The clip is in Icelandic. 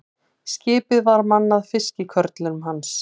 Skipið var mannað fiskikörlum hans.